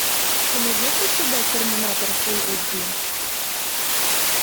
ты найдешь у себя терминатор фул эйч ди